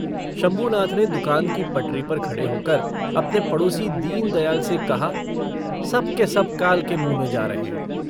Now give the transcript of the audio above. शंभूनाथ ने दूकान की पटरी पर खड़े होकर अपने पड़ोसी दीनदयाल से कहा - सब के सब काल के मुँह में जा रहे हैं।